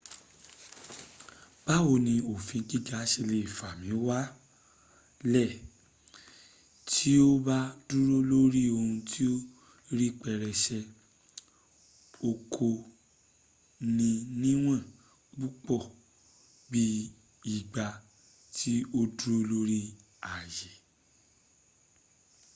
báwo ni òfin giga ṣe lè fà mí wálẹ̀ tí o bá dúró lórí ohun ti ó rí pẹrẹsẹ o kò ní níwọ̀n púpọ̀ bí ìgbà tí o dúró lórí aye